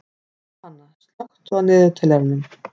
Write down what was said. Pálhanna, slökktu á niðurteljaranum.